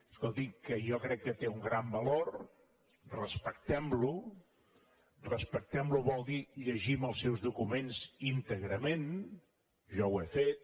escolti que jo crec que té un gran valor respectem lo respectem lo vol dir llegim els seus documents íntegrament jo ho he fet